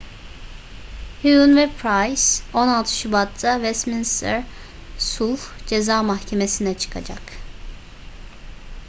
huhne ve pryce 16 şubat'ta westminster sulh ceza mahkemesi'ne çıkacak